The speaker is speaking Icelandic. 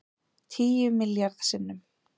Tíu milljarð sinnum